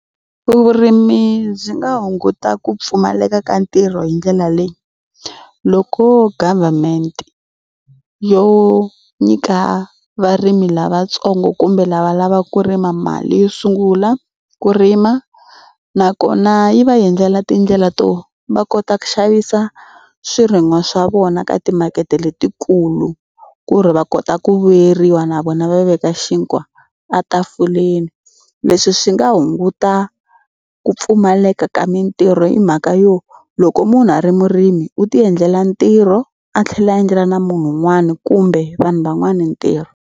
Vurimi byi nga hunguta ku pfumaleka ka ntirho hi ndlela leyi loko government yo nyika varimi lavatsongo kumbe lava lavaka ku rima mali yo sungula ku rima nakona yi va endlela tindlela to va kota ku xavisa swirin'wa swa vona ka timakete letikulu ku ri va kota ku vuyeriwa na vona va veka xinkwa a tafuleni leswi swi nga hunguta ku pfumaleka ka mitirho hi mhaka yo loko munhu a ri murimi u tiendlela ntirho a tlhela endlela na munhu un'wana kumbe vanhu van'wana ntirho.